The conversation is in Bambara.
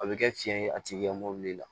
A bɛ kɛ fiyɛn ye a tigi ka mobili la